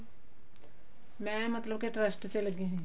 ਮੈਂ ਮਤਲਬ ਕੇ trust ਚ ਲੱਗੀ ਹੋਈ ਆ